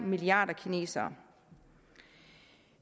milliarder kinesere